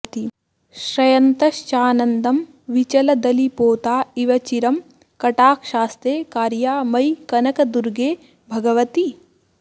श्रयन्तश्चानन्दं विचलदलिपोता इव चिरं कटाक्षास्ते कार्या मयि कनकदुर्गे भगवति